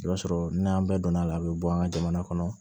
I b'a sɔrɔ n'an bɛɛ donna a la a bɛ bɔ an ka jamana kɔnɔ